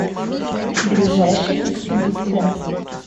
ближайший экспедиция